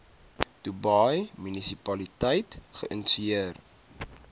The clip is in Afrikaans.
dubai munisipaliteit geïnisieer